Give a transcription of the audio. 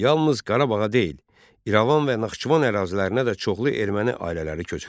Yalnız Qarabağa deyil, İrəvan və Naxçıvan ərazilərinə də çoxlu erməni ailələri köçürüldü.